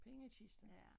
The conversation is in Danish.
Pengekisten